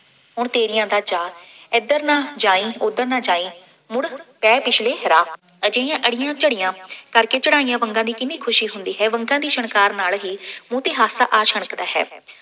ਹੁਣ ਤੇਰੀ ਦਾ ਚਾਅ, ਇੱਧਰ ਨਾ ਜਾਈਂ, ਉੱਧਰ ਨਾ ਜਾਈਂ, ਮੁੜ ਪੈ ਪਿਛਲੇ ਰਾਹ, ਅਜਿਹੀਆਂ ਅੜੀਆਂ ਝੜੀਆਂ, ਕਰਕੇ ਚੜ੍ਹਾਈਆਂ ਵੰਗਾਂ ਦੀ ਕਿੰਨੀ ਖੁਸ਼ੀ ਹੁੰਦੀ ਹੈ। ਵੰਗਾਂ ਦੀ ਛਣਕਾਰ ਨਾਲ ਹੀ ਮੂੰਹ ਤੇ ਹਾਸਾ ਆ ਛਣਕਦਾ ਹੈ।